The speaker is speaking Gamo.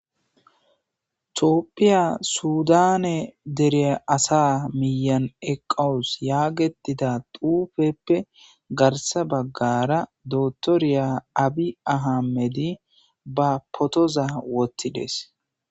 Topphiya sudane dereya asa miyan eqqawus yaagetida dufeppe garsa baggara dotoriya abi ahamedi ba potoza wottides